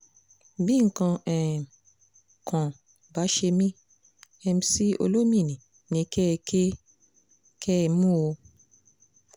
bí nǹkan um kan bá ṣe mí mc olomini ni kẹ́ ẹ kẹ́ ẹ mú o um